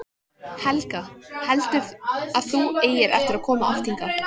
Helga: Heldurðu að þú eigir eftir að koma oft hingað?